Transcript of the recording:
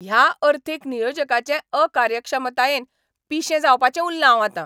ह्या अर्थीक नियोजकाचे अकार्यक्षमतायेन पिशें जावपाचें उल्लां हांव आतां.